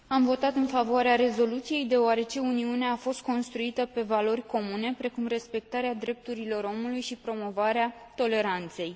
Am votat în favoarea rezoluției, deoarece Uniunea a fost construită pe valori comune, precum respectarea drepturilor omului și promovarea toleranței.